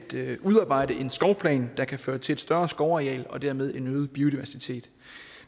udarbejde en skovplan der kan føre til et større skovareal og dermed en øget biodiversitet